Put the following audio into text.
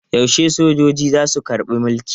Yaushe sojoji za su karɓi mulki?